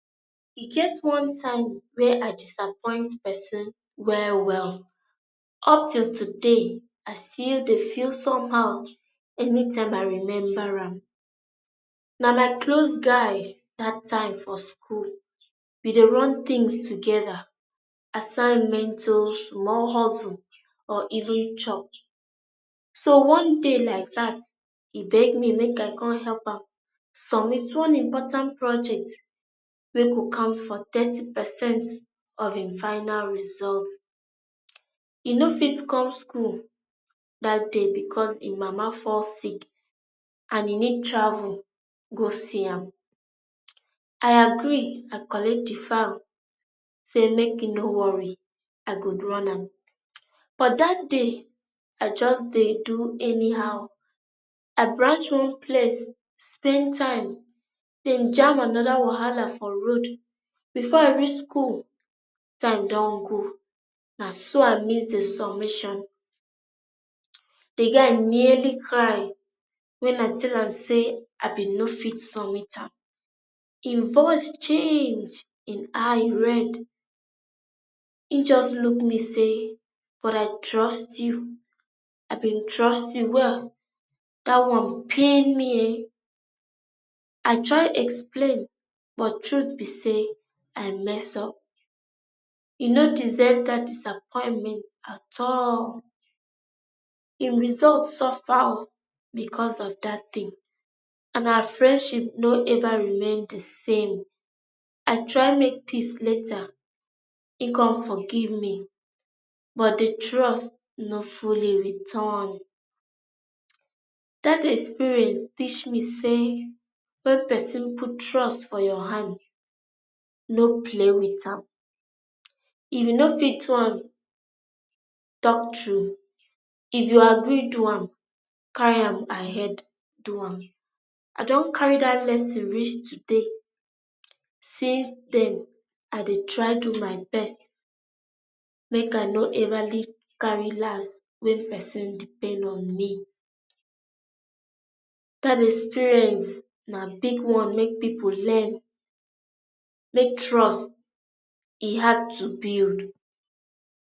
e get one time wey i disappoint pesin well well. up till today, i still dey feel somehow anytime i remember am. na my close guy that time for school. we dey run things together, assignment o, if we wan hustle or even chop. so one day day like dat e beg me make i come help, am submit one important project ,wey go count for thirty percent of em final result e no fit come school that day because e mama fall sick and e need travel go see am. i agree, i collect the file say make e no worry, i go run am. but that day i just dey do anyhow. i branch one place spend time, then jamb another wahala for road. Before i reach school, time dun go na so i miss the submission um the guy nearly cry when i tell am say i bin no fit submit am. em voice change, em eye red. e just look me say, 'but i trust, i bin trust you well''. that one pain me ehen, i try explain but truth be say, i mess up. e no deserve that disappointment at all. em result suffer ooo becasue of that thing and our friendship no ever remain the same. i try make peace later, en con forgive me but the trust no fully return. That experience teach me say when pesin put trust for your hand no play with am. if you no fit do am talk true. if you agree do, carry am ahead do am. i dun carry that lesson reach today. Since then i dey try do my best make i no everly carry last when person depend on me that experience na big one make people learn make trust, e hard to build.